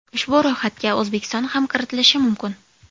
Ushbu ro‘yxatga O‘zbekiston ham kiritilishi mumkin.